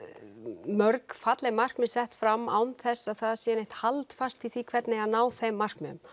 mörg falleg markmið sett fram án þess að það sé neitt haldfast í því hvernig á að ná þeim markmiðum